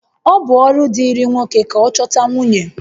Ọ bụ ọrụ dịịrị nwoke ka ọ chọta nwunye